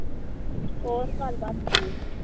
ਹੋਰ ਗੱਲਬਾਤ ਕੋਈ